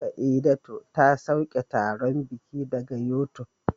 Saidatu ta sauke taron bikin daga YouTube